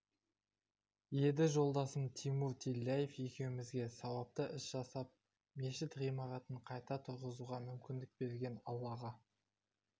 еді жолдасым тимур тилляев екеумізге сауапты іс жасап мешіт ғимаратын қайта тұрғызуға мүмкіндік берген аллаға